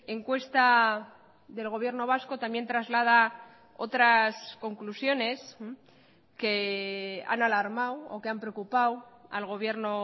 encuesta del gobierno vasco también traslada otras conclusiones que han alarmado o que han preocupado al gobierno